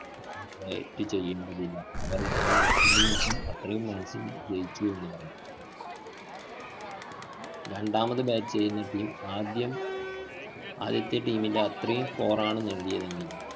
bat ചെയ്യുന്നതിലാണ്. അവര്‍ ഇന്നി innings ഉം അത്രയും runs ന് ജയിച്ചു എന്ന് പറയും. രണ്ടാമത് bat ചെയ്യുന്ന team ആദ്യം ആദ്യത്തെ team ൻറെ അത്രയും score ആണ് നേടിയതെങ്കില്‍